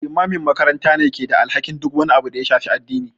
Limamin makaranta ne ke da alhakin duk wani abu da ha shafi addini.